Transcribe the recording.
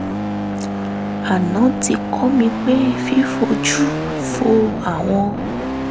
aná ti kọ́ mi pé fífojú fo àwọn